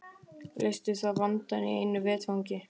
Leysti það vandann í einu vetfangi.